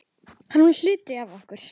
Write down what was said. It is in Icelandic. Hann var hluti af okkur.